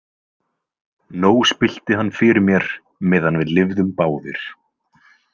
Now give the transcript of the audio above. Nóg spillti hann fyrir mér meðan við lifðum báðir.